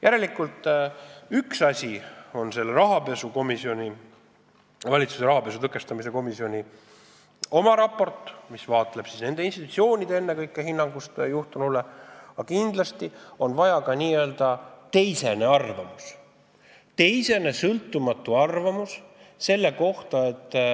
Järelikult, üks asi on valitsuse rahapesu tõkestamise komisjoni raport, mis käsitleb ennekõike asjaomaste institutsioonide hinnangut juhtunule, aga kindlasti on vajalik ka n-ö teisene, sõltumatu arvamus selle kohta.